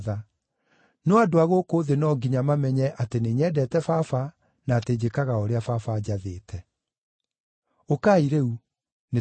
no andũ a gũkũ thĩ no nginya mamenye atĩ nĩnyendete Baba, na atĩ njĩkaga o ũrĩa Baba anjathĩte. “Ũkai rĩu; nĩtũthiĩi.